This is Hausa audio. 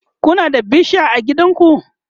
Kuna da bishiya a gidanku?